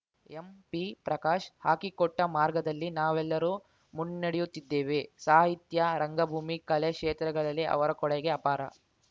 ಎಂಪಿಪ್ರಕಾಶ್‌ ಹಾಕಿಕೊಟ್ಟಮಾರ್ಗದಲ್ಲಿ ನಾವೆಲ್ಲರೂ ಮುನ್ನಡೆಯುತ್ತಿದ್ದೇವೆ ಸಾಹಿತ್ಯ ರಂಗಭೂಮಿ ಕಲೆ ಕ್ಷೇತ್ರಗಳಲ್ಲಿ ಅವರ ಕೊಡುಗೆ ಅಪಾರ